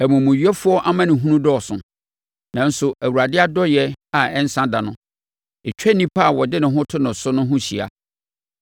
Ɔmumuyɛfoɔ amanehunu dɔɔso, nanso Awurade adɔeɛ a ɛnsa da no, ɛtwa onipa a ɔde ne ho to no so no ho hyia.